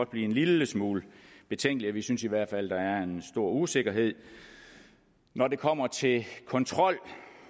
blive en lille smule betænkelige vi synes i hvert fald at der er en stor usikkerhed når det kommer til kontrol